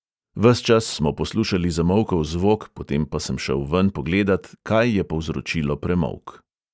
Ves čas smo poslušali zamolkel zvok, potem pa sem šel ven pogledat, kaj je povzročilo premolk.